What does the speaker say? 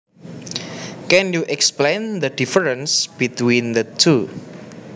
Can you explain the difference between the two